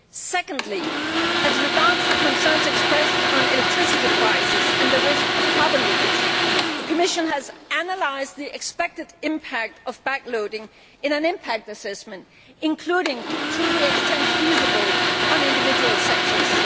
Secondly, as regards the concerns expressed about electricity prices and the risk of carbon leakage, the Commission has analysed the expected impact of backloading in an impact assessment, including to the extent feasible on individual sectors.